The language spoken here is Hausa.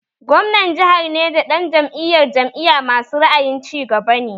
Gwamnan jahar Neja ɗan Jam'iyar jam'iya masu ra'ayin cigaba ne